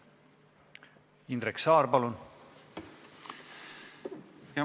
Indrek Saar, palun!